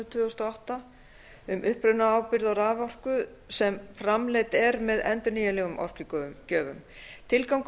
tvö þúsund og átta um upprunaábyrgð á raforku sem framleidd er með endurnýjanlegum orkugjöfum tilgangur